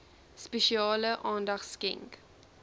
spesiale aandag skenk